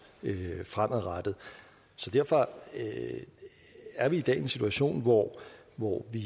fremadrettet derfor er vi i dag i en situation hvor hvor vi